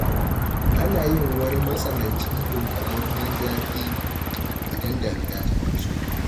Ana yin wani matsanancin dunkumammen zafi idan damina ta doso.